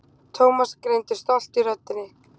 Thomas greindi stolt í röddinni.